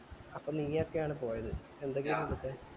അപ്പൊ നിങ്ങ ഒക്കെ ആണ് പോയത് എന്തെങ്കിലു കിട്ടാൻ